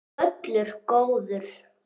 Völlur góður.